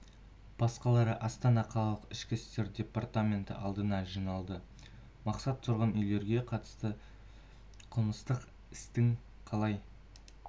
басқалары астана қалалық ішкі істер департаменті алдына жиналды мақсат тұрғын үйлерге қатысты қылмыстық істің қалай